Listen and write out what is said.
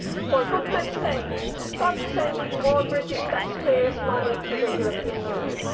For goodness sake, stop sending more British taxpayers' money to the European Union.